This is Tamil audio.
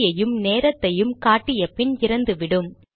தேதியையும் நேரத்தையும் காட்டிய பின் இறந்துவிடும்